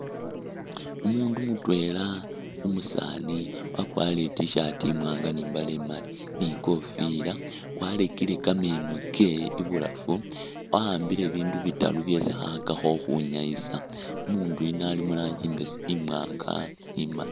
Umundu mutwela umusaani wakwarire i'tshirt imwanga ni mbaale imali ni kofila, warekele kameeno kewe ibulafu, wa'ambile bindu bitaru byesi khakhakakho ukhunyayisa ,umundu yuno Ali muranji imbese imwanga imali